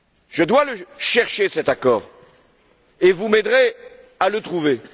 Je dois le chercher, cet accord, et vous m'aiderez à le trouver.